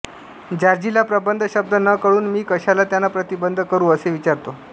जॉर्जीला प्रबंध शब्द न कळून मी कशाला त्यांना प्रतिबंध करू असे विचारतो